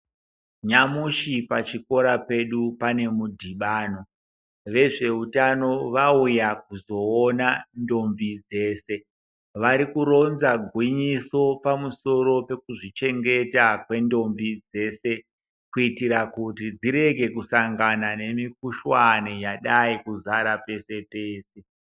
Nyamushi pachikora pedu pane mudhibhano. Vezveutano vauya koona ntombi dzese. Vari kuronza gwinyiso pamusoro pekuzvichengeta kwentombi dzese kuitira kuti dzirege kusangana nemikhuhlane yadai kuzara pese pese.